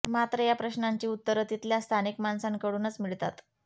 मात्र या प्रश्नांची उत्तरं तिथल्या स्थानिक माणसांकडूनच मिळतात